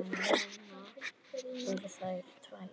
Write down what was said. en nú eru þær tvær.